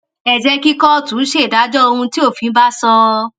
ẹ jẹ kí kóòtù ṣèdájọ ohun tí òfin bá sọ